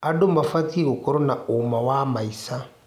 Andũ mabatiĩ gũkorwo na ũma wa maica.